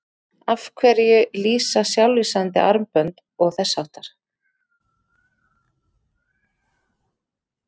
Af hverju lýsa sjálflýsandi armbönd og þess háttar?